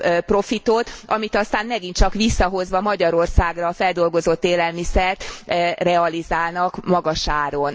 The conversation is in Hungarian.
profitot, amit aztán megint csak visszahozva Magyarországra a feldolgozott élelmiszert realizálnak magas áron.